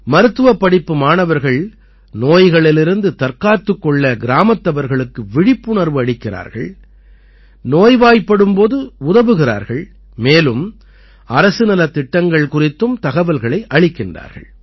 மருத்துவப்படிப்பு மாணவர்கள் நோய்களிலிருந்து தற்காத்துக் கொள்ள கிராமத்தவர்களுக்கு விழிப்புணர்வு அளிக்கிறார்கள் நோய்வாய்ப்படும் போது உதவுகிறார்கள் மேலும் அரசு நலத்திட்டங்கள் குறித்தும் தகவல்களை அளிக்கின்றார்கள்